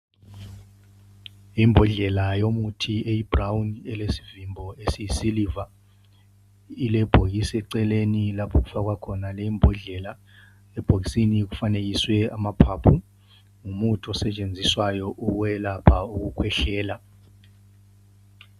Imbodlela yomuthi eyibrawuni elesivimbo esiyisiliva, ilebhokisi eceleni lapho okufakwa khona lembodlela. Ebhokisini kufanekiswe amaphaphu, ngumuthi osetshenziswayo ukwelapha ukukhwehlela.